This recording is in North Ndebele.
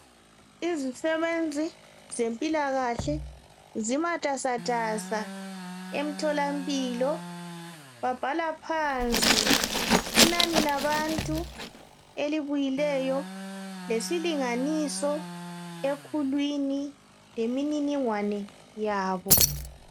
Izisebenzi zempilakahle zimatasatasa emtholampilo, babhala phansi inani labantu elibuyileyo .lesilinganiso ekhulwini lemininingwane yabo.